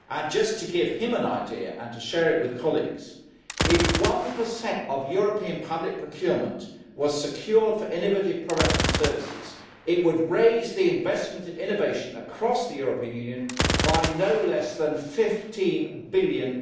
Just to give him an idea and to share it with colleagues, if 1 of European public procurement was secured for innovative products and services, it would raise the investment in innovation across the European Union by no less than EUR 15 billion.